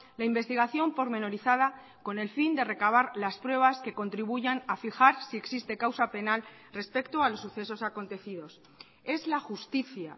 la investigación pormenorizada con el fin de recabar las pruebas que contribuyan a fijar si existe causa penal respecto a los sucesos acontecidos es la justicia